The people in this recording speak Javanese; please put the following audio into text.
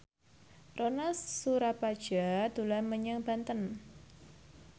Ronal Surapradja dolan menyang Banten